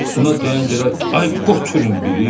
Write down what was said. Buna deyən gərək ay qoturun biri!